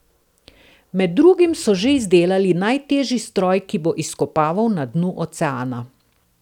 Med drugim so že izdelali najtežji stroj, ki bo izkopaval na dnu oceana.